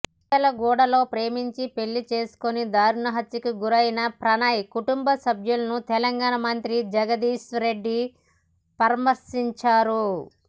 మిర్యాలగూడలో ప్రేమించి పెళ్లి చేసుకుని దారుణహత్యకు గురైన ప్రణయ్ కుటుంబసభ్యులను తెలంగాణ మంత్రి జగదీష్ రెడ్డి పరామర్శించారు